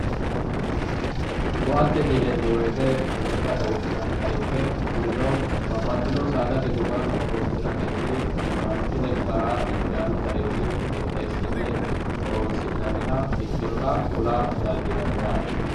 ko'attete yineemo woyiite lekkate wodhinanniha ikke kurino babbaxinoha saadste goga horoonsiratenni manchi lekkara injaanno garinni qidheesine horonsi'nanniha ikkinota kula dandiinanni yaate.